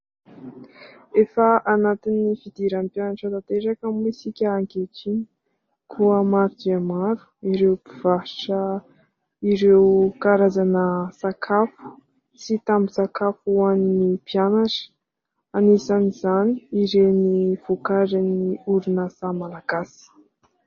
Efa anatin'ny fidiran'ny mpianatra tanteraka moa isika ankehitriny, koa maro dia maro ireo mpivarotra ireo karazana sakafo sy tambin-tsakafo ho an'ny mpianatra. Anisan'izany ireny vokarin'ny orinasa malagasy.